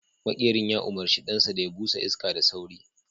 maƙerin ya umarci ɗansa da ya busa iska da sauri